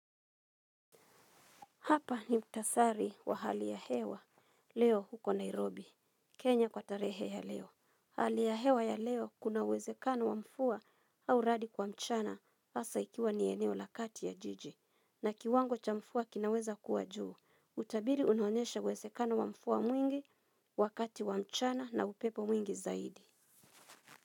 Hapa ni mtasari wa hali ya hewa leo huko Nairobi. Kenya kwa tarehe ya leo. Hali ya hewa ya leo kuna uwezekano wa mfua au radi kwa mchana asa ikiwa ni eneo lakati ya jiji. Na kiwango cha mfua kinaweza kuwa juu. Utabili unaonesha wezekano wa mfua mwingi wakati wa mchana na upepo mwingi zaidi.